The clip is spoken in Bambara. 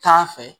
Taa fɛ